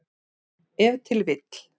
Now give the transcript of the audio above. Ef til vill.